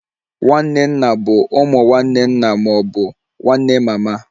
Nwanne nna bụ ụmụ nwanne nna ma ọ bụ nwanne mama